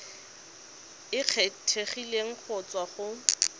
e kgethegileng go tswa go